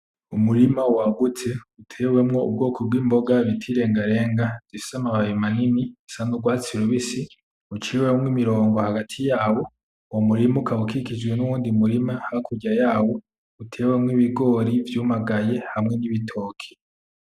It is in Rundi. Umurima wagutse utewemwo ubwoko bw'imboga bita irengarenga zifise amababi manini, zisa n'urwatsi rubisi, uciwemwo imirongo hagati yawo, uwo murima ukaba ukikijwe n'uwundi murima hakurya yawo utewemwo ibigori vyumagaye hamwe n'ibitoki.